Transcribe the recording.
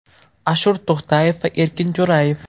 Ashur To‘xtayev va Erkin Jo‘rayev.